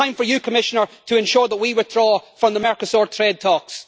It is time for you, Commissioner, to ensure that we withdraw from the Mercosur trade talks.